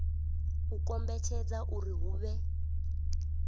u kombetshedza uri hu vhe